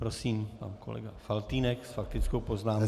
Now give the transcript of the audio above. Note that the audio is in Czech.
Prosím, pan kolega Faltýnek s faktickou poznámkou.